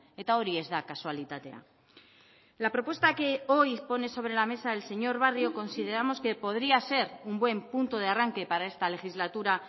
eta hori ez da kasualitatea la propuesta que hoy pone sobre la mesa el señor barrio consideramos que podría ser un buen punto de arranque para esta legislatura